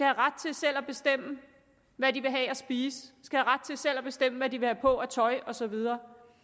ret til selv at bestemme hvad de vil have at spise de skal have ret til selv at bestemme hvad de vil have på af tøj og så videre